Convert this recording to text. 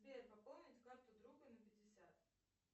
сбер пополнить карту друга на пятьдесят